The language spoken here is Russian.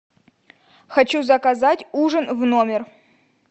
хочу заказать ужин в номер